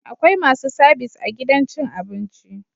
Akwai masu sabis a gidan cin abinci